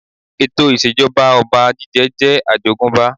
Ètò ìṣèjọba ọba jíjẹ jẹ́ àjogúnbá